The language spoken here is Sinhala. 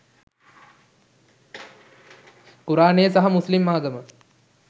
කුරාණය සහ මුස්ලිම් ආගම